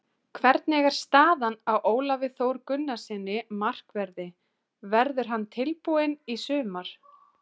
Hvernig er staðan á Ólafi Þór Gunnarssyni, markverði, verður hann tilbúinn í sumar?